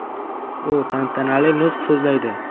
U tantanali nutq so‘zlaydi.